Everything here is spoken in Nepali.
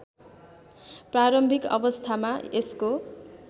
प्रारम्भिक अवस्थामा यसको